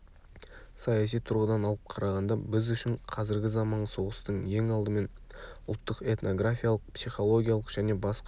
саяси тұрғыдан алып қарағанда біз үшін қазіргі заманғы соғыстың ең алдымен ұлттық этнографиялық психологиялық және басқа